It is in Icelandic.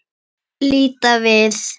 Líta við.